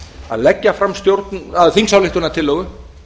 að leggja fram þingsályktunartillögu